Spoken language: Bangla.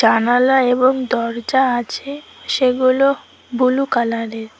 জানালা এবং দরজা আছে সেগুলো বুলু কালারের।